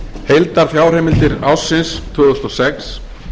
heildarfjárheimildir ársins tvö þúsund og sex